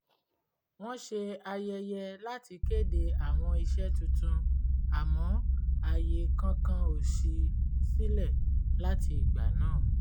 wọ́n ṣe àyẹyẹ láti kéde àwọn iṣẹ́ tuntun àmọ́ àyè kankan ò ṣí sílẹ̀ láti ìgbà náà